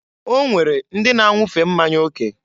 O nwere ndị na-anwufe mmanya oke.